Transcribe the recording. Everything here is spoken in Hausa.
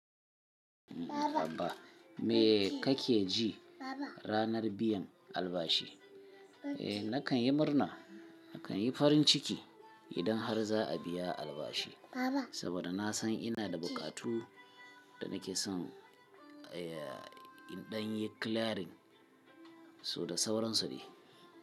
Baba me kake ji ranar biyan albashi? Eh nakan yi murna, nakan yi farin ciki idan har za a biya albashi. Saboda na san ina da buƙatu da nake son, eh, in ɗan yi clearing so da sauransu ne.